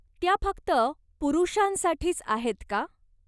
त्या फक्त पुरुषांसाठीच आहेत का?